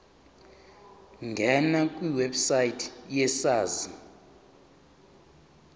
ngena kwiwebsite yesars